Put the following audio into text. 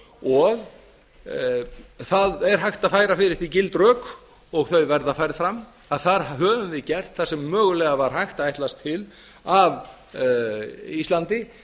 og það er hægt að færa fyrir því gild rök og þau verða færð fram að þar höfum við gert það sem mögulega var hægt að ætlast til af íslandi